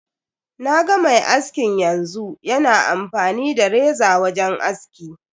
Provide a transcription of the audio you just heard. Naga mai askin yanzu, yana amfani da reza wajen aski.